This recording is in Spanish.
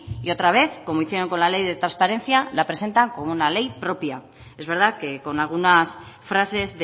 y otra vez como hicieron con la ley de transparencia la presentan como una ley propia es verdad que con algunas frases